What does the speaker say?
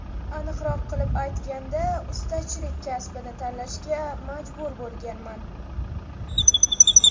Aniqroq qilib aytganda, ustachilik kasbini tanlashga majbur bo‘lganman.